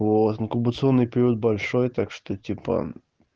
вот инкубационный период большой так что типа